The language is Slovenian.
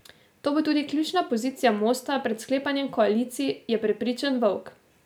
To bo tudi ključna pozicija Mosta pred sklepanjem koalicij, je prepričan Volk.